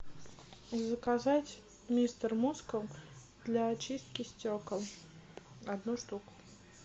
заказать мистер мускул для очистки стекол одну штуку